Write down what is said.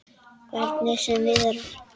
Hvernig sem viðrar.